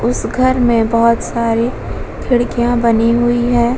उस घर में बोहोत सारी खिड़कियां बनी हुई हैं।